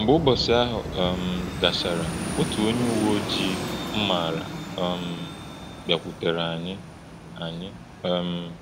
Mgbe ụbọchị ahụ um gachara, otu onye uwe ojii m maara um bịakwutere anyị. anyị. um